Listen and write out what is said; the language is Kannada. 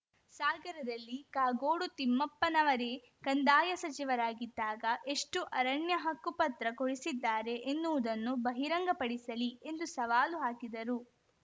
ಸಾಗರದಲ್ಲಿ ಕಾಗೋಡು ತಿಮ್ಮಪ್ಪನವರೇ ಕಂದಾಯ ಸಚಿವರಾಗಿದ್ದಾಗ ಎಷ್ಟುಅರಣ್ಯಹಕ್ಕು ಪತ್ರ ಕೊಡಿಸಿದ್ದಾರೆ ಎನ್ನುವುದನ್ನು ಬಹಿರಂಗ ಪಡಿಸಲಿ ಎಂದು ಸವಾಲು ಹಾಕಿದರು